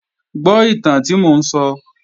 Gbọ́ ìtàn tí mò ń sọ!